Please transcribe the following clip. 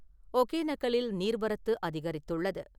ஒகேனக்கலில் நீர்வரத்து அதிகரித்துள்ளது.